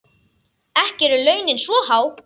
Ekki eru launin svo há.